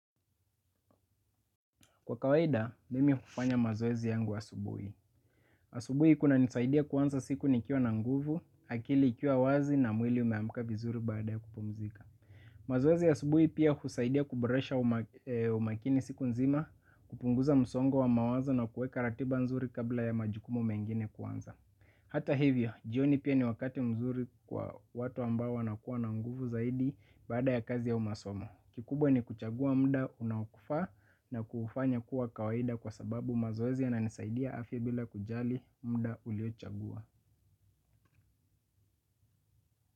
Kwa kawaida, mimi hufanya mazoezi yangu asubuhi. Asubuhi kunanisaidia kuanza siku nikiwa na nguvu, akili ikiwa wazi na mwili umeamka vizuri baada ya kupumzika. Mazoezi ya asubuhi pia husaidia kuboresha umakini siku nzima, kupunguza msongo wa mawazo na kuweka ratiba nzuri kabla ya majukumu mengine kuanza. Hata hivyo, jioni pia ni wakati mzuri kwa watu ambao wanakuwa na nguvu zaidi baada ya kazi au masomo. Kikubwa ni kuchagua muda unaokufaa na kuufanya kuwa kawaida kwa sababu mazoezi yananisaidia afya bila kujali muda uliochagua.